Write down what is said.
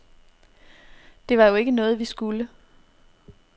Det var jo ikke noget, vi skulle.